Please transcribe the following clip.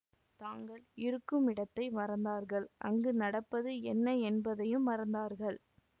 தாங்கள் இருக்குமிடத்தை மறந்தார்கள் அங்கு நடப்பது என்ன என்பதையும் மறந்தார்கள்